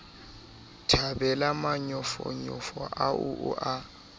thabele manyofonyo ao o a